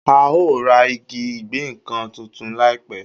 A o ra igi ìgéǹkan tuntun láìpẹ́.